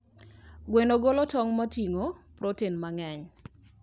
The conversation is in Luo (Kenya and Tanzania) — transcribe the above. Gweno golo tong' moting'o protein mang'eny.